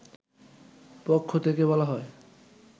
পক্ষ থেকে বলা হয়